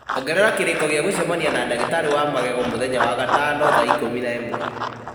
Ongerera kĩrĩko gĩa gũcemania na ndagĩtarĩ wa magego mũthenya wa gatano thaa ikũmi na ĩmwe